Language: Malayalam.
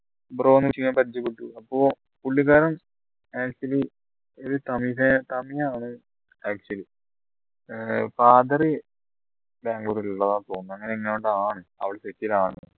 bro ന്ന് വിളിച്ച് ഞാൻ പരിചയപ്പെട്ടു പുള്ളിക്കാരൻ actually ഒരു തമിഴ് തമിഴ് ആണ് actually ഏർ father ബാംഗ്ലൂർ ഉള്ളതാണ് തോന്നുന്നു